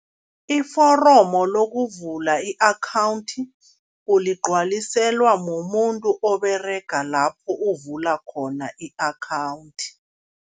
Iforomo lokuvula i-akhawundi uligcwaliselwa mumuntu oberega lapho uvula khona i-akhawundi.